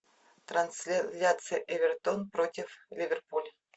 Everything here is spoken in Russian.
трансляция эвертон против ливерпуль